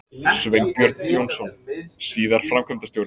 Sveinbjörn Jónsson, síðar framkvæmdastjóri